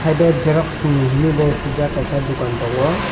haidor xerox ni hinui bo siyjak kaisa dokan tongo.